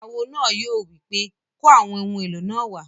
Awo náà yóò wí pé "kó àwọn ohun èlò náà wá!"